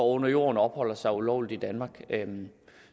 under jorden og opholder sig ulovligt i danmark